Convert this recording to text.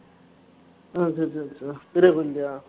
ஆஹ் சரி சரிங்க sir பெரிய கோயில்கிட்டயா